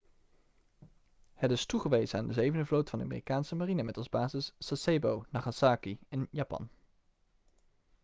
het is toegewezen aan de zevende vloot van de amerikaanse marine met als basis sasebo nagasaki in japan